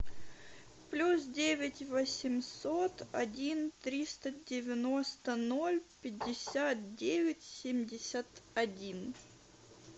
плюс девять восемьсот один триста девяносто ноль пятьдесят девять семьдесят один